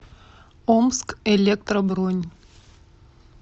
омскэлектро бронь